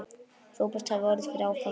Róbert hafði orðið fyrir áfalli.